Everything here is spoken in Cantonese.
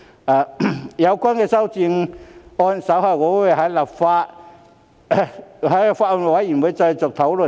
至於有關的修正案，我稍後會在法案委員會再作討論。